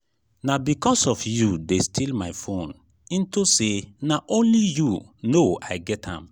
na because of you dey steal my phone into say na only you no i get am.